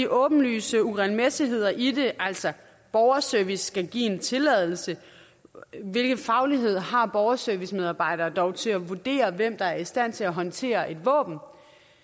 åbenlyse uregelmæssigheder i det altså borgerservice skal give en tilladelse hvilken faglighed har borgerservicemedarbejdere til at vurdere hvem der er i stand til at håndtere et våben og